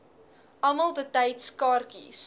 almal betyds kaartjies